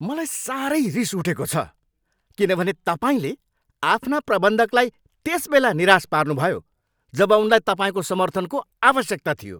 मलाई सारै रिस उठेको छ किनभने तपाईँले आफ्ना प्रबन्धकलाई त्यसबेला निराश पार्नुभयो जब उनलाई तपाईँको समर्थनको आवश्यकता थियो।